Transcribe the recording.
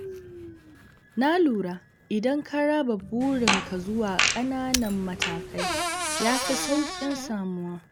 Na lura idan ka raba burin ka zuwa ƙananan matakai ya fi sauƙin samuwa